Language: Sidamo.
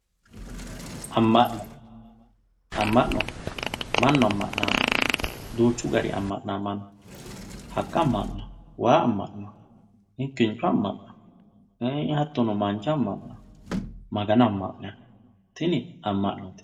Ama'no, amano manu amanati duuchu garinni ama'nawo manu, haqa ama'nawo, waa ama'nawo, gidinchu ama'no hatono mancho ama'nawo, magano ama'nawo tini ama'note